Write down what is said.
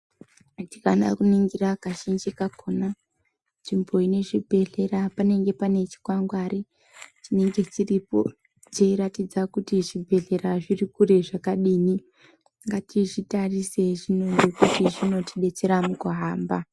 Tikada kuningira kazhinji kakona nzvimbo ine zvibhedhlera panenge pane chikwangwari chinenge chiripo chinoratidza kuti zvibhedhlera Zviri kure zvakadini ngatizvitarise ngekuti zvinotidetsera mukuhamba.